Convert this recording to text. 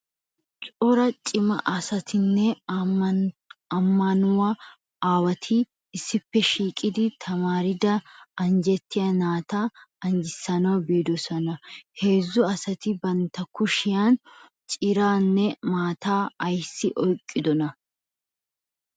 Cora cima asatinne ammanuwa aawati issippe shiiqidi tamaaridi anjetiya naata anjissanawu biidosona. Heezzu asati Bantta kushiyankka ciraanne maataa ayssi oyiqqidonaa?